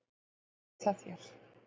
Hvað segir það þér?